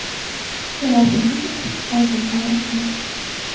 Javobingiz uchun oldindan rahmat.